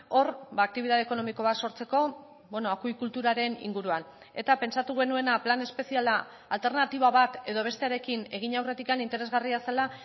hor aktibitate ekonomiko bat sortzeko akuikulturaren inguruan eta pentsatu genuena plan espeziala alternatiba bat edo bestearekin egin aurretik interesgarria zela